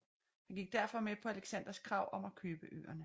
Han gik derfor med på Alexanders krav om at købe øerne